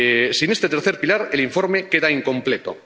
Sin este tercer pilar el informe queda incompleto.